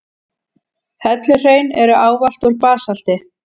Helluhraun eru ávallt úr basalti.